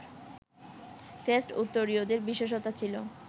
crest ও উত্তরীয়ের বিশেষতা ছিল